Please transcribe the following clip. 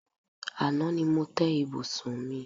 Àná ni mo té̩ ibùsùn mi.